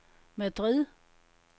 Madrid